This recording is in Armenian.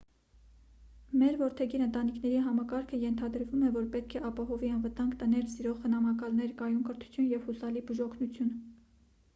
մեր որդեգիր ընտանիքների համակարգը ենթադրվում է որ պետք է ապահովի անվտանգ տներ սիրող խնամակալներ կայուն կրթություն և հուսալի բուժօգնություն